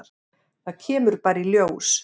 Það kemur bara í ljós.